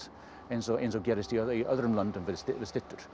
eins og eins og gerðist í öðrum löndum við styttur